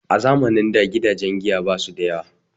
Zamanin da gidajen giya basu da yawa